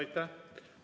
Aitäh!